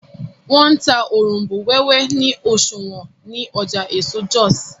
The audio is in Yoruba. wón n tá Òrombó wéwé ni oṣuwọn ní Ọjà eso Jos